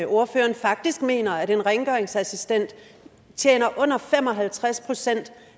ordføreren faktisk mener at en rengøringsassistent tjener under fem og halvtreds procent